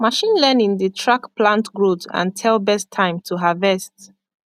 machine learning dey track plant growth and tell best time to harvest